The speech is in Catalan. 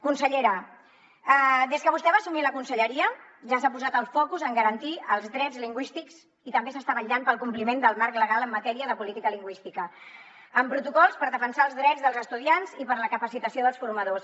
consellera des que vostè va assumir la conselleria ja s’ha posat el focus en garantir els drets lingüístics i també s’està vetllant pel compliment del marc legal en matèria de política lingüística amb protocols per defensar els drets dels estudiants i per a la capacitació dels formadors